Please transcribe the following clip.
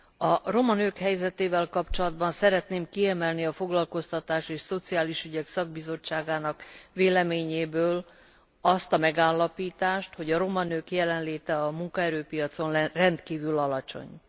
A roma nők helyzetével kapcsolatban szeretném kiemelni a Foglalkoztatási és Szociális Bizottság véleményéből azt a megállapítást, hogy a roma nők jelenléte a munkaerőpiacon rendkívül alacsony.